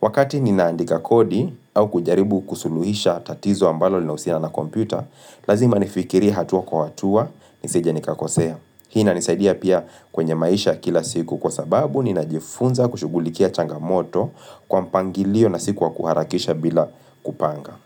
Wakati ninaandika kodi au kujaribu kusuluhisha tatizo ambalo linausina na kompyuta Lazima nifikiri hatua kwa hatua niseja nikakosea. Hii inanisaidia pia kwenye maisha kila siku kwa sababu ninajifunza kushughulikia changamoto Kwa mpangilio na siku wakuharakisha bila kupanga.